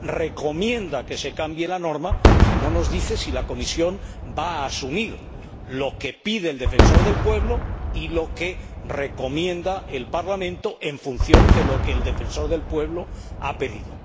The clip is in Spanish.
recomienda que se cambie la norma, no nos dice si la Comisión va a asumir lo que pide el Defensor del Pueblo y lo que recomienda el Parlamento en función de lo que el Defensor del Pueblo ha pedido.